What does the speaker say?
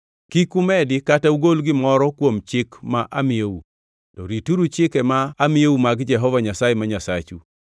Kik umedi kata ugol gimoro amora kuom chik ma amiyou, to rituru chike ma amiyou mag Jehova Nyasaye ma Nyasachu.